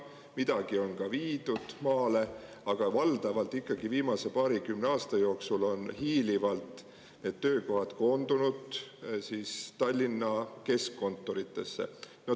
Midagi on ka viidud maale, aga valdavalt ikkagi viimase paarikümne aasta jooksul on hiilivalt need töökohad koondunud Tallinna keskkontoritesse.